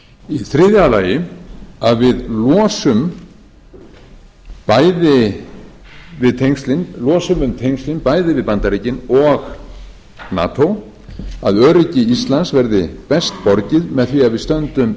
í þriðja lagi að við losum um tengslin bæði við bandaríkin og nato að öryggi íslands verði best borgið með því að við stöndum